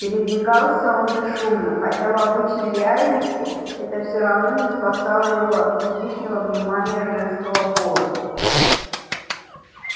передвигался он бесшумно хотя в обычной реальности это всё равно не спасало его от излишнего внимания женского пола